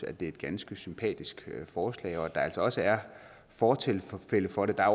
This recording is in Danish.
er et ganske sympatisk forslag og at der altså også er fortilfælde for det der er